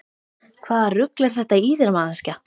Hvaða rugl er þetta í þér manneskja!